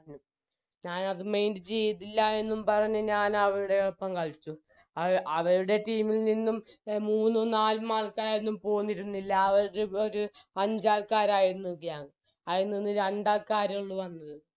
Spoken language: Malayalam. ഞാനത് mind ചെയ്തില്ലായെന്നും പറഞ്ഞ് ഞാനവരുടെ ഒപ്പം കളിച്ചു അവ അവരുടെ team ഇൽ നിന്നും എ മൂന്നും നാലും ആൾക്കാരൊന്നും പോന്നിരുന്നില്ല അവര് ഒര് ഒര് അഞ്ചാൾക്കാരായിരുന്നു gang അയിൽ നിന്ന് രണ്ടാൾക്കാരാണ് വന്നത്